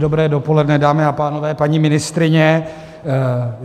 Dobré dopoledne, dámy a pánové, paní ministryně.